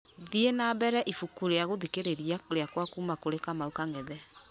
thiĩ na mbere ibuku rĩa gũthikĩrĩria rĩakwa kuuma kũri kamau kang'ethe